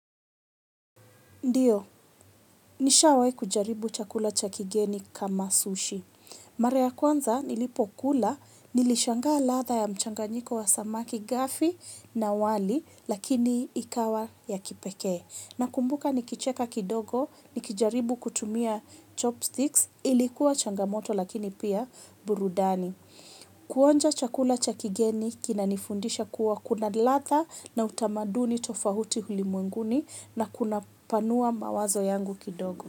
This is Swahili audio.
Ndio nishawahi kujaribu chakula cha kigeni kama sushi mara ya kwanza nilipokula nishangaa ladha ya mchanganyiko wa samaki gafi na wali lakini ikawa ya kipekee. Nakumbuka nikicheka kidogo, nikijaribu kutumia chopsticks, ilikuwa changamoto lakini pia burudani. Kuonja chakula cha kigeni kinanifundisha kuwa kuna ladha na utamaduni tofauti ulimwenguni na kunapanua mawazo yangu kidogo.